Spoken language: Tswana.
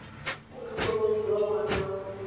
motlhokomedi wa ngwana wa semolao